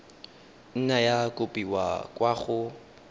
nna ya kopiwa kwa go